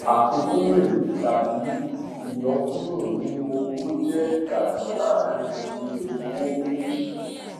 àfikún rẹ tàbí ìyọkúrò nínú owó jẹ ìyàtọ láàárín iye owó méjì